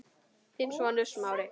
Þinn sonur, Smári.